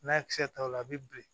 N'a ye kisɛ ta o la a bɛ bilen